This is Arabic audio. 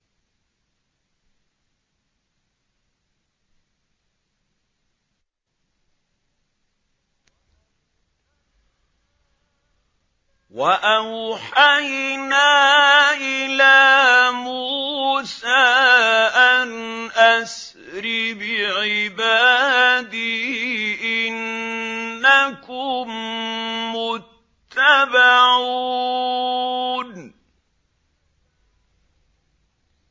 ۞ وَأَوْحَيْنَا إِلَىٰ مُوسَىٰ أَنْ أَسْرِ بِعِبَادِي إِنَّكُم مُّتَّبَعُونَ